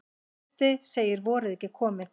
Trausti segir vorið ekki komið